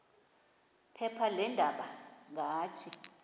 phepha leendaba ngathi